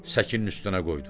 Səkinin üstünə qoydu.